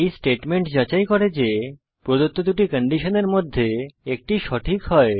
এই স্টেটমেন্ট যাচাই করে যে প্রদত্ত দুটি কন্ডিশনের মধ্যে একটি সঠিক হয়